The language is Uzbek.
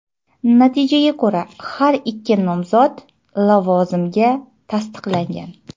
Natijaga ko‘ra har ikki nomzod lavozimga tasdiqlangan.